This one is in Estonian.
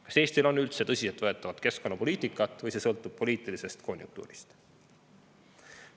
Kas Eestil on üldse tõsiseltvõetavat keskkonnapoliitikat või sõltub see poliitilisest konjunktuurist?